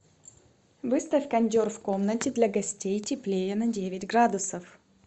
выставь кондер в комнате для гостей теплее на девять градусов